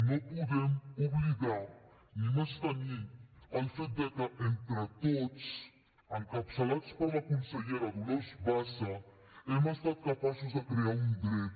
no podem oblidar ni menystenir el fet que entre tots encapçalats per la consellera dolors bassa hem estat capaços de crear un dret